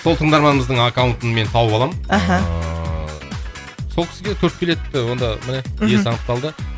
сол тыңдарманымыздың аккаунтын мен тауып аламын мхм ыыы сол кісіге төрт билет онда міне мхм иесі анықталды